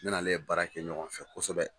Ne n'ale ye baara kɛ ɲɔgɔn fɛ kosɛbɛ